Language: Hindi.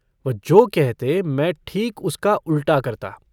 वह जो कहते, मैं ठीक उसका उल्टा करता।